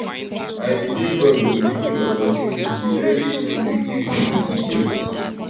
i believe god go give me opportunity very soon to give you di details